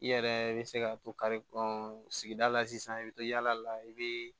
I yɛrɛ bɛ se ka to ka sigida la sisan i bɛ to yala la i bɛ